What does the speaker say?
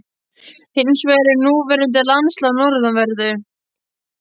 Hins vegar er núverandi landslag á norðanverðu